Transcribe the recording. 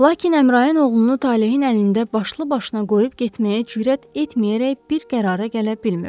Lakin Əmrayin oğlunu talehin əlində başlı-başına qoyub getməyə cürət etməyərək bir qərara gələ bilmirdi.